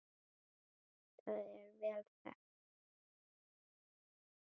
Það er vel þekkt.